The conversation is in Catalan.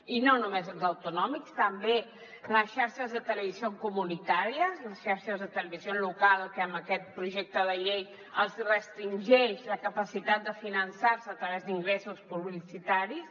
i no només els autonòmics també les xarxes de televisió comunitàries les xarxes de televisió local que amb aquest projecte de llei se’ls restringeix la capacitat de finançar se a través d’ingressos publicitaris